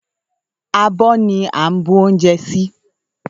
Àbọ ni à ń bu oúnjẹ sí.